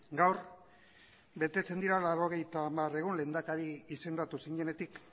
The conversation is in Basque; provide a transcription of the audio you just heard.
gaur betetzen dira laurogeita hamar egun lehendakari izendatu zinenetik